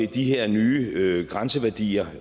de her nye grænseværdier